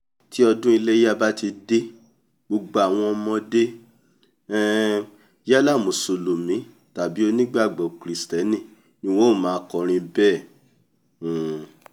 tí ọdún iléya bá ti dé gbogbo àwọn ọmọdé um yálà mùsùlùmí tàbí onígbàgbọ́ kìrìstẹ́nì ni wọ́n a máa kọrin bẹ́ẹ̀ um